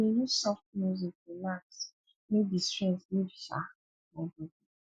i dey use soft music relax make di stress leave um my bodi